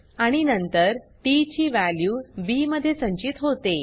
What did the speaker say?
आणि नंतर टीटी ची वॅल्यू बी मध्ये संचित होते